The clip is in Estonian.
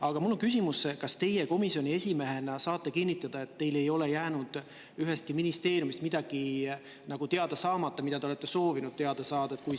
Aga mul on küsimus: kas teie komisjoni esimehena saate kinnitada, et teil ei ole jäänud ühestki ministeeriumist teada saamata midagi, mida te olete soovinud teada saada?